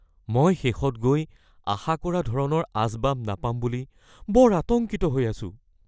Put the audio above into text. মই শেষত গৈ আশা কৰা ধৰণৰ আচবাব নাপাম বুলি বৰ আতংকিত হৈ আছোঁ।